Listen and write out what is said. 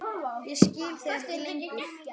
Ég skil þig ekki lengur.